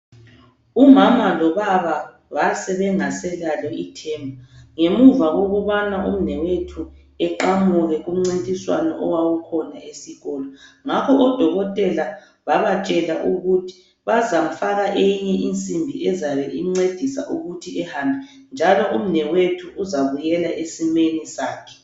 Umama lobaba basebengaselalo ithemba ngemuva kokubana umnewethu eqamuke kumncintiswano owawukhona esikolo. Ngakho odokotela babatshela ukuthi bazafaka eyinye insimbi ezabe imncedisa ukuthi ehambe njalo umnewethu uzabuyela esimeni sakhe.